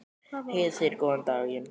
Heiða segir góðan daginn!